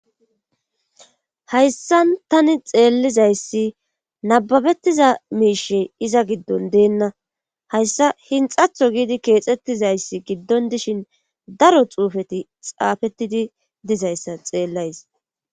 Hayssan tani xeellizayssi nababettiza miishe iza giddon deenna hayssa hinxatho giidi keexxettizayssi giddon dishin daro xuufeti xaafettidi dizayssa xeellays.